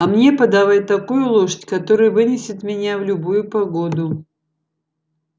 а мне подавай такую лошадь которая вынесет меня в любую погоду